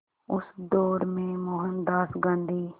उस दौर में मोहनदास गांधी